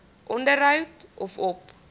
onderhou of op